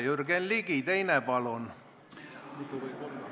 Jürgen Ligi, teine küsimus, palun!